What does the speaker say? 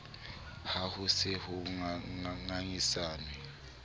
ha ho se ho ngangisanwe